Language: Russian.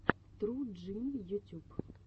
тру джим ютюб